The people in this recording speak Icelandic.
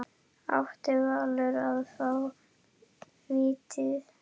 Átti Valur að fá víti?